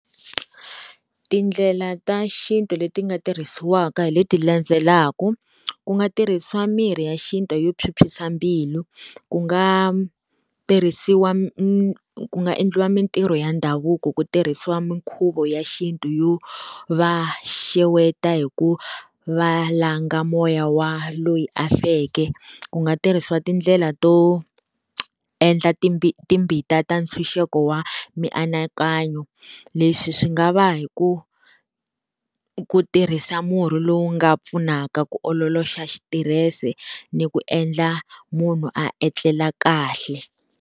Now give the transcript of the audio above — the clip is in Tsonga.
Tindlela ta xintu leti nga tirhisiwaka hi leti landzelaka, ku nga tirhisiwa mirhi ya xintu yo phyuphyisa mbilu, ku nga tirhisiwa ku nga endliwa mintirho ya ndhavuko ku tirhisiwa minkhuvo ya xintu yo va xeweta hi ku va langa moya wa loyi a feke. Ku nga tirhisiwa tindlela to endla timbita ta ntshunxeko wa mianakanyo, leswi swi nga va hi ku ku tirhisa murhi lowu nga pfunaka ku ololoxa xitirese ni ku endla munhu a etlela kahle.